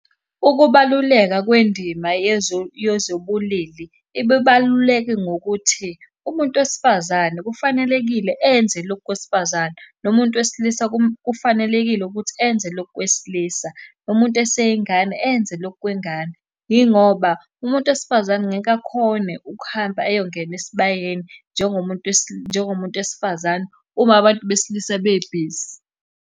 Ukubaluleka kwendima yezobulili, ibibaluleke ngokuthi, umuntu wesifazane kufanelekile enze lokhu kwesifazane, nomuntu wesilisa kufanelekile ukuthi enze lokhu kwesilisa. Umuntu eseyingane enze lokhu kwengane, yingoba umuntu wesifazane ngeke akhone ukuhamba ayongena esibayeni njengomuntu njengomuntu wesifazane uma abantu besilisa bebhizi.